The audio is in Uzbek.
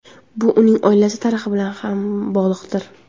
Bu uning oilasi tarixi bilan ham bog‘liqdir.